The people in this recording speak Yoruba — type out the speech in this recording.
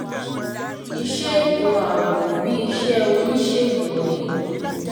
iṣẹ́ ètò ààbò bíi iṣẹ́ oníṣègùn ni